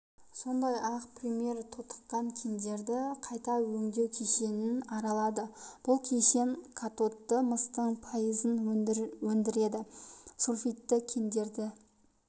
сондай-ақ премьер тотыққан кендерді қайта өңдеу кешенін аралады бұл кешен катодты мыстың пайызын өндіреді сульфидті кендерді